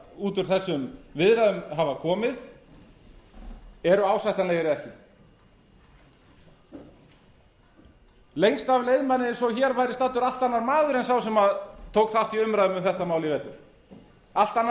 út úr þessum viðræðum hafa komið eru ásættanlegir eða ekki lengst af leið manni eins og hér væri staddur allt annar maður en sá sem tók þátt í umræðum um þetta mál í vetur allt